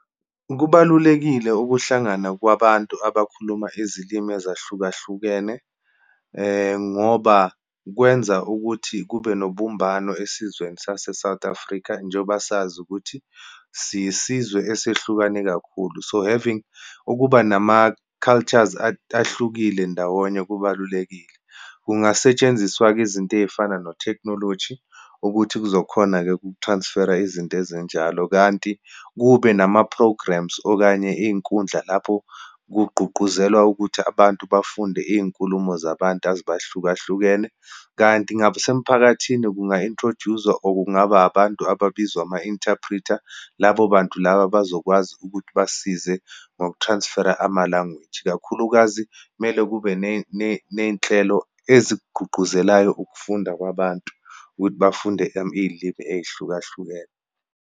Kubalulekile ukuhlangana kwabantu abakhuluma izilimi ezahlukahlukene, ngoba kwenza ukuthi kube nobumbano esizweni sase-South Africa, njengoba sazi ukuthi siyisizwe esehlukane kakhulu. So, having ukuba nama-cultures ahlukile ndawonye, kubalulekile. Kungasetshenziswa-ke izinto eyifana netekhinoloji ukuthi kuzokhona uku-transfer-a izinto ezinjalo. Kanti kube nama-programmes, okanye iyinkundla lapho kugqugquzelwa ukuthi abantu bafunde iyinkulumo zabantu azibahlukahlukene. Kanti ngasemphakathini kunga-introduce-zwa, or kungaba abantu ababizwa ama-interpreter. Labo bantu laba abazokwazi ukuthi basize ngoku-transfer-a ama-language, kakhulukazi kumele kube neyinhlelo ezikugquqguzelayo ukufunda kwabantu, ukuthi bafunde iyilimi eyihlukahlukene.